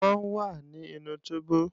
Wọ́n wà nínú túbú